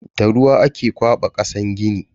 Da ruwa ake kwaba kasan gini.